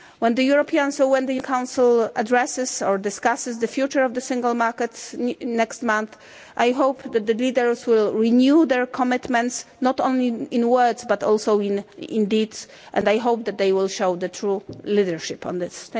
When the European Council addresses or discusses the future of the Single Market next month, I hope that the leaders will renew their commitments, not only in words but also in deeds, and I hope that they will show true leadership on this.